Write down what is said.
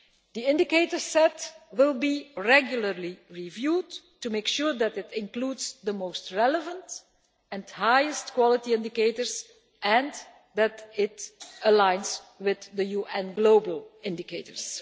The indicator set will be regularly reviewed to make sure that it includes the most relevant and highest quality indicators and that it aligns with the UN global indicators.